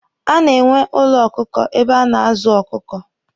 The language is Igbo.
A na-enwe ụlọ ọkụkọ ebe a na-azụ ọkụkọ.